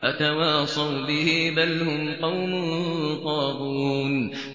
أَتَوَاصَوْا بِهِ ۚ بَلْ هُمْ قَوْمٌ طَاغُونَ